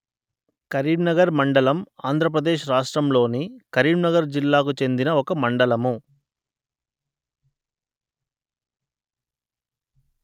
కరీంనగర్ మండలం ఆంధ్ర ప్రదేశ్ రాష్ట్రములోని కరీంనగర్ జిల్లాకు చెందిన ఒక మండలము